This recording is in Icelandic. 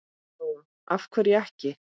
Lóa: Af hverju ekki?